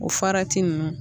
O farati ninnu